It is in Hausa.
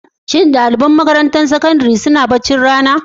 Shin ɗaliban makarantun sakandare na kwana suna yin baccin rana?